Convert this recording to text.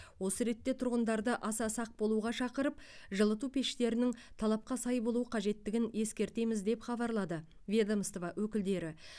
осы ретте тұрғындарды аса сақ болуға шақырып жылыту пештерінің талапқа сай болуы қажеттігін ескертеміз деп хабарлады ведомство өкілдері